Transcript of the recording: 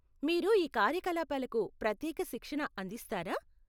మీరు ఈ కార్యకలాపాలకు ప్రత్యేక శిక్షణ అందిస్తారా?